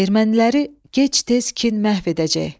Erməniləri gec-tez kin məhv edəcək.